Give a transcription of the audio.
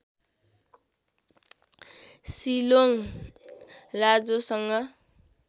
Shillong लाजोङसँग